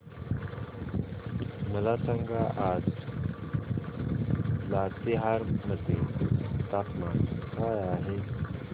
मला सांगा आज लातेहार मध्ये तापमान काय आहे